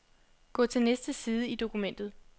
Gå til næste side i dokumentet.